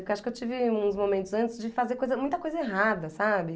Porque acho que eu tive uns momentos antes de fazer coisa, muita coisa errada, sabe?